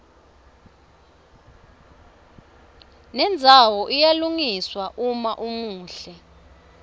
nendzawo iyalungiswa uma umuhle